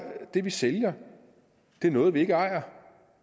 det vi sælger noget vi ikke ejer